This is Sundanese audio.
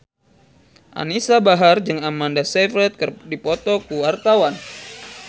Anisa Bahar jeung Amanda Sayfried keur dipoto ku wartawan